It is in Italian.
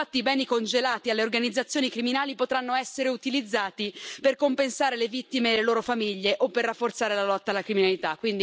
Infatti i beni congelati alle organizzazioni criminali potranno essere utilizzati per compensare le vittime e le loro famiglie o per rafforzare la lotta alla criminalità.